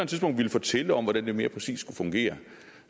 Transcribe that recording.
tidspunkt vil fortælle om hvordan det mere præcist skulle fungere